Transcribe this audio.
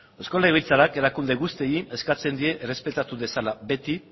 eusko legebiltzarrak erakunde guztiei eskatzen die errespetatu dezala beti